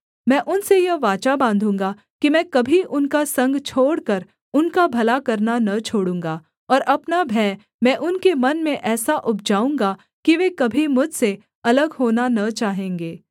मैं उनसे यह वाचा बाँधूँगा कि मैं कभी उनका संग छोड़कर उनका भला करना न छोड़ूँगा और अपना भय मैं उनके मन में ऐसा उपजाऊँगा कि वे कभी मुझसे अलग होना न चाहेंगे